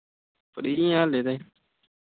free ਆ ਹੱਲੇ ਤਾਈ।